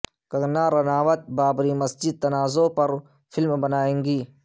کنگنا رناوت بابری مسجد تنازعے پر فلم بنائیں گی